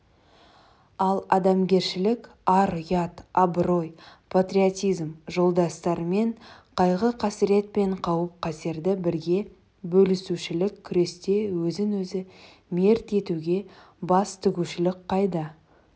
ал адамгершілік ар-ұят абырой патриотизм жолдастарымен қайғы-қасірет пен қауіп-катерді бірге бөлісушілік күресте өзін-өзі мерт етуге бас тігушілік қайда